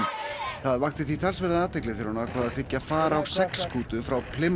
það vakti því talsverða athygli þegar hún ákvað að þiggja far á seglskútu frá